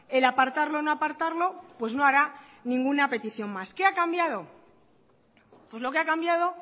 el apartarlo o no apartarlo pues no hará ninguna petición más qué ha cambiado pues lo que ha cambiado